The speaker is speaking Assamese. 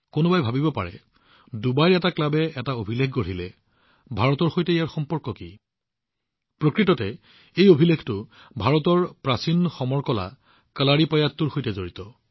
কোনোবাই ভাবিব পাৰে নে যে ডুবাইৰ ক্লাবে এটা অভিলেখ স্থাপন কৰিছে ভাৰতৰ সৈতে ইয়াৰ সম্পৰ্ক কি প্ৰকৃততে এই অভিলেখটো ভাৰতৰ প্ৰাচীন সমৰ কলা কালাৰিপায়াট্টুৰ সৈতে সম্পৰ্কিত